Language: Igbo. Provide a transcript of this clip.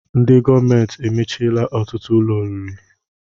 Ndị gọọmenti emechiela ọtụtụ ụlọ oriri